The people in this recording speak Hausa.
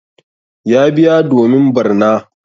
Ya biya domin barna.